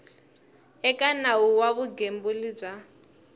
eka nawu wa vugembuli bya